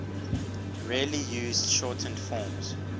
rarely used shortened forms